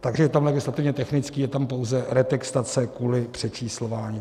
Takže je tam legislativně technický, je tam pouze retextace kvůli přečíslování.